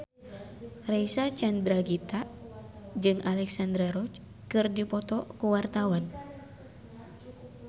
Reysa Chandragitta jeung Alexandra Roach keur dipoto ku wartawan